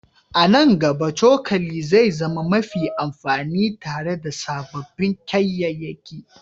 A nan gaba, cokali zai zama mafi amfani tare da sababbin kayayyaki